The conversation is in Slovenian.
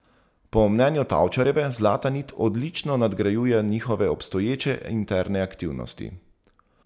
Po mnenju Tavčarjeve Zlata nit odlično nadgrajuje njihove obstoječe interne aktivnosti.